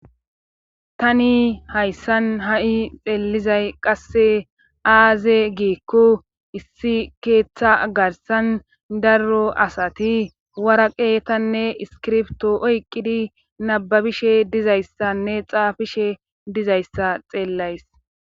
tani hayssan ha7i peellizay qasse aaze giikko issi keeththa garsan darro asati waraqeetanne iskirpto oyqqidi nababishe dizayssanne xaafishe dizayssa xeellays